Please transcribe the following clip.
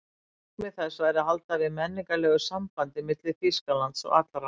Markmið þess væri að halda við menningarlegu sambandi milli Þýskalands og allra